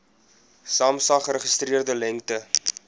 samsa geregistreerde lengte